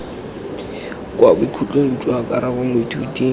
kwa bokhutlong jwa karabo moithuti